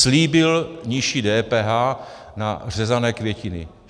Slíbil nižší DPH na řezané květiny.